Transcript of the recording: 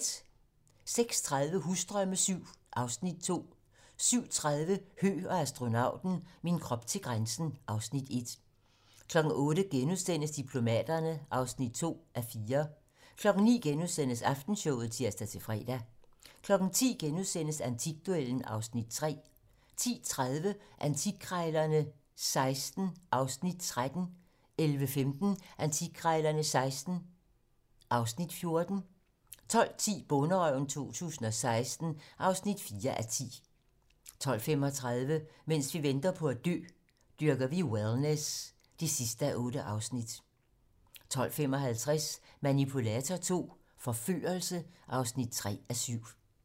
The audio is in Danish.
06:30: Husdrømme VII (Afs. 2) 07:30: Høgh og astronauten - min krop til grænsen (Afs. 1) 08:00: Diplomaterne (2:4)* 09:00: Aftenshowet *(tir-fre) 10:00: Antikduellen (Afs. 3)* 10:30: Antikkrejlerne XVI (Afs. 13) 11:15: Antikkrejlerne XVI (Afs. 14) 12:10: Bonderøven 2016 (4:10) 12:35: Mens vi venter på at dø - Dyrker vi wellness (8:8) 12:55: Manipulator II - forførelse (3:7)